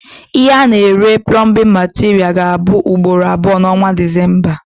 Ihe A na- ere plọmbin materials ga abụ ugboro abụọ na onwa December